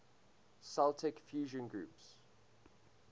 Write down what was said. celtic fusion groups